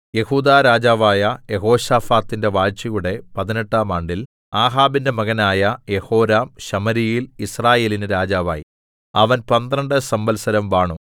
യെഹൂദാ രാജാവായ യെഹോശാഫാത്തിന്റെ വാഴ്ചയുടെ പതിനെട്ടാം ആണ്ടിൽ ആഹാബിന്റെ മകനായ യെഹോരാം ശമര്യയിൽ യിസ്രായേലിന് രാജാവായി അവൻ പന്ത്രണ്ട് സംവത്സരം വാണു